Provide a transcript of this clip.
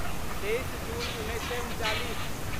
तेइस जून उन्नैस सए उनचालिस